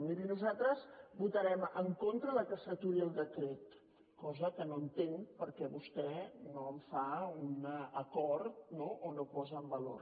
miri nosaltres votarem en contra que s’aturi el decret cosa que no entenc per què vostè no en fa un acord no o no posa en valor